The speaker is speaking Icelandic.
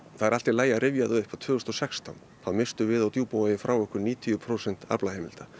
það er allt í lagi að rifja það upp að tvö þúsund og sextán þá misstum við á Djúpavogi frá okkur níutíu prósent aflaheimilda